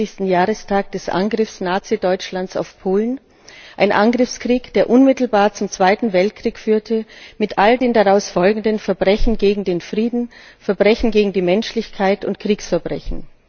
75. Jahrestag des Angriffs Nazi Deutschlands auf Polen, eines Angriffskriegs, der unmittelbar zum Zweiten Weltkrieg führte mit all den daraus folgenden Verbrechen gegen den Frieden, Verbrechen gegen die Menschlichkeit und Kriegsverbrechen.